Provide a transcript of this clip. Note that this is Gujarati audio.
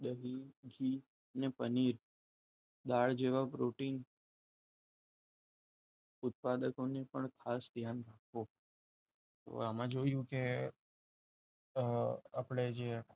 દહી કે અને પનીર દાળ જેવા પ્રોટીન ઉત્પાદકોની પણ ખાસ ધ્યાન રાખો આમાં જોયું કે આપણે જે